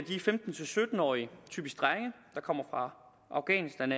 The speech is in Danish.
er femten til sytten årige typisk drenge der kommer fra afghanistan